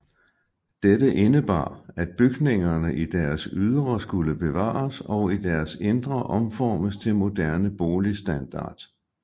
Dette indebar at bygningerne i deres ydre skulle bevares og i deres indre omformes til moderne boligstandard